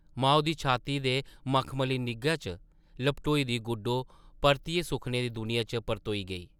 माऊ दी छाती दे मखमली निग्घा च लपटोई दी गुड्डो परतियै सुखने दी दुनिया च परतोई गेई ।